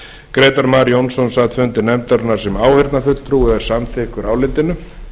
grétar mar jónsson sat fund nefndarinnar sem áheyrnarfulltrúi og er samþykkur álitinu